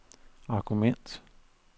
argument